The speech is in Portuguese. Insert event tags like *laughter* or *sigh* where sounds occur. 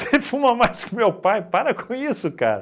*laughs* fuma mais que o meu pai, para com isso, cara.